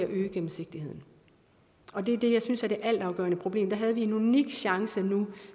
øge gennemsigtigheden og det er det jeg synes er det altafgørende problem her havde vi en unik chance nu